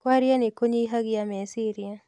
Kwaria nĩ kũnyihagia meciria